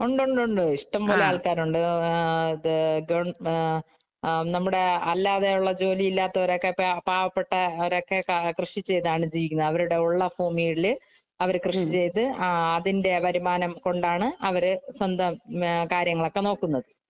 ഒണ്ടൊണ്ടൊണ്ട്. ഇഷ്ടം പോലെ ആള്‍ക്കാര് ഒണ്ട്. ആ ഗവ നമ്മുടെ അല്ലാതെയുള്ള ജോലി ഇല്ലാത്തവര് ഒക്കെ പാവപ്പെട്ടവരൊക്കെ കൃഷി ചെയ്താണ് ജീവിക്കുന്നത്. അവരുടെ ഒള്ള ഭൂമികളില് അവര് കൃഷി ചെയ്തു അതിന്‍റെ വരുമാനം കൊണ്ടാണ് അവര് സ്വന്തം കാര്യങ്ങളൊക്കെ നോക്കുന്നത്.